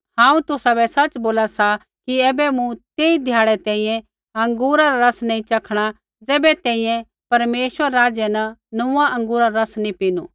हांऊँ तुसाबै सच़ बोला सा कि ऐबै मूँ तेई ध्याड़ै तैंईंयैं अँगूरा रा रस नैंई च़खणा ज़ैबै तैंईंयैं परमेश्वरै रै राज्य न नोंऊँआं अँगूरा रा रस नी पीनू